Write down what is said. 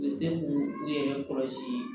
U bɛ se k'u yɛrɛ kɔlɔsi